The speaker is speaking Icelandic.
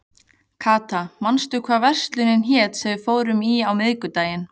Kata, manstu hvað verslunin hét sem við fórum í á miðvikudaginn?